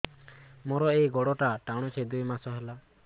ମୋର ଏଇ ଗୋଡ଼ଟା ଟାଣୁଛି ଦୁଇ ମାସ ହେଲା